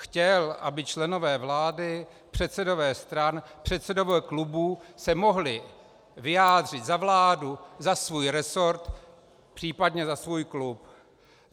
Chtěl, aby členové vlády, předsedové stran, předsedové klubů se mohli vyjádřit za vládu, za svůj resort, případně za svůj klub.